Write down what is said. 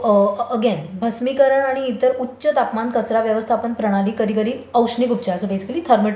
So again भस्मिकरण आणि इतर उच्च तापमान कचरा व्यावस्थापन प्रणाली कधीकधी औष्णिक उपचार सो बेसिकली थर्मल ट्रीटमेंट म्हणून वरणील्या जातात.